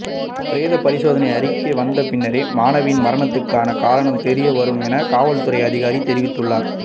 பிரேத பரிசோதனை அறிக்கை வந்த பின்னரே மாணவியின் மரணத்துக்கான காரணம் தெரிய வரும் என காவல்துறை அதிகாரி தெரிவித்துள்ளார்